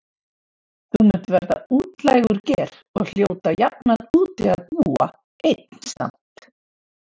Þú munt verða útlægur ger og hljóta jafnan úti að búa einn samt.